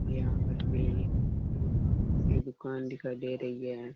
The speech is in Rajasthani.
यहाँ पर वे की दुकान दिखाई दे रही है।